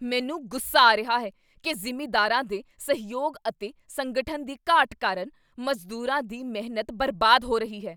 ਮੈਨੂੰ ਗੁੱਸਾ ਆ ਰਿਹਾ ਹੈ ਕੀ ਜ਼ਿਮੀਂਦਾਰਾਂ ਦੇ ਸਹਿਯੋਗ ਅਤੇ ਸੰਗਠਨ ਦੀ ਘਾਟ ਕਾਰਨ ਮਜ਼ਦੂਰਾਂ ਦੀ ਮਿਹਨਤ ਬਰਬਾਦ ਹੋ ਰਹੀ ਹੈ।